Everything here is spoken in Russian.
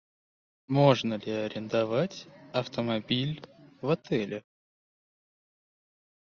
можно ли арендовать автомобиль в отеле